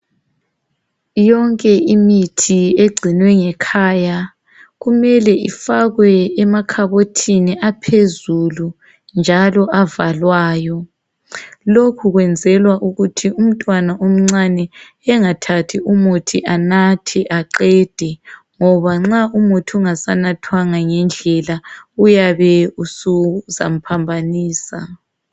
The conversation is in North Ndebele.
Yonke imithi egcinwe ngekhaya, kumele emakhabothini aphezulu njalo avalwayo. Lokhu kwenzelwa ukuthi umntwana omncane engathathi umuthi anathe aqede , ngoba nxa umuthi unganathwanga ngendlela uyabe uzamphambanisa.